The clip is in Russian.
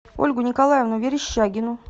ольгу николаевну верещагину